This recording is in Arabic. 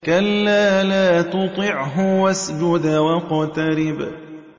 كَلَّا لَا تُطِعْهُ وَاسْجُدْ وَاقْتَرِب ۩